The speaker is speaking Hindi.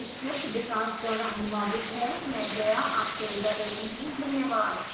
यह स्क्रिप्ट विकास द्वारा अनुवादित है मैं जया आपसे विदा लेती हूँ धन्यवाद